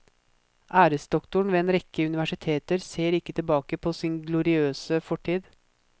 Æresdoktoren ved en rekke universiteter ser ikke tilbake på sin gloriøse fortid.